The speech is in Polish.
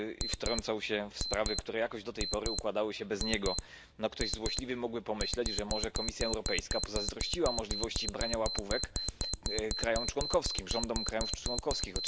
Wtrącał się w sprawy, które jakoś do tej pory układały się bez niego. No ktoś złośliwy mógłby pomyśleć, że może Komisja Europejska pozazdrościła możliwości brania łapówek krajom członkowskim, rządom krajów członkowskich.